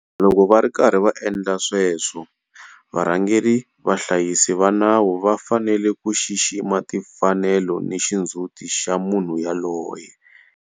Loko va ri karhi va endla sweswo, varhangeri vahlayisi va nawu va fanele ku xixima timfanelo ni xindzhuti xa munhu yoloye.